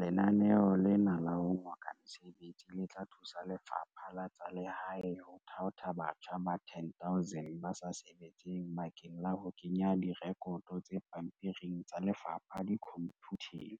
Lenaneo lena la ho ngoka mesebetsi le tla thusa Lefapha la tsa Lehae ho thaotha batjha ba 10 000 ba sa sebetseng bakeng la ho kenya direkoto tse pampiring tsa lefapha dikhomphuteng,